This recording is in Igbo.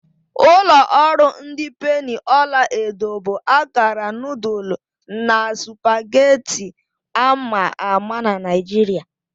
Ulo oru ndi penni ọla edo bụ akara nudulu na supagetti ama ama na Naijiria.